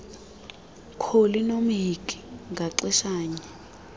kholi nomhinki ngaxeshanye